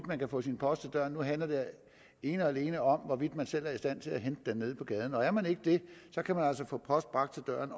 man kan få sin post til døren nu handler det ene og alene om hvorvidt man selv er i stand til at hente den nede på gaden er man ikke det kan man altså få post bragt til døren